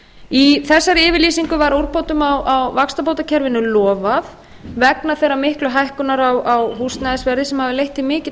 í þessari yfirlýsingu var úrbótum á vaxtabótakerfinu lofað vegna þeirrar miklu hækkunar á húsnæðisverði sem hafði leitt til mikilla